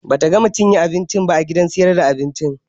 Bata gama cinye abincin ba a gidan sayar da abincin